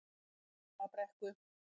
Varmabrekku